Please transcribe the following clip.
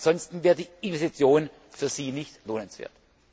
Ansonsten wäre die Investition für sie nicht lohnenswert.